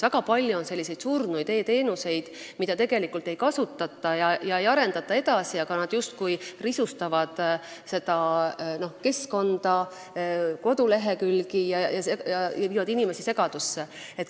Väga palju on surnud e-teenuseid, mida tegelikult ei kasutata ega arendata edasi, nad justkui risustavad seda keskkonda, kodulehekülgi ja ajavad inimesi segadusse.